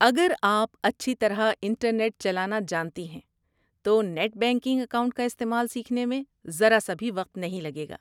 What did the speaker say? اگر آپ اچھی طرح انٹرنیٹ چلانا جانتی ہیں، تو نیٹ بینکنگ اکاؤنٹ کا استعمال سیکھنے میں ذرا سا بھی وقت نہیں لگے گا۔